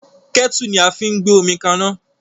Kẹ́tù ni a fi ń gbé omi kaná